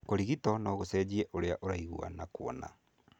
Kũrigito no gũcenjie ũrĩa ũraigua na kuona.